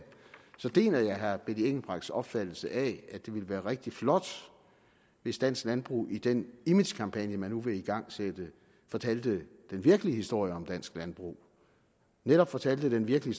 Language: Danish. så deler jeg herre benny engelbrechts opfattelse af at det ville være rigtig flot hvis dansk landbrug i den imagekampagne man nu vil igangsætte fortalte den virkelige historie om dansk landbrug netop fortalte den virkelige